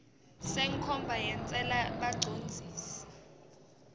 senkhomba yentsela bacondzisi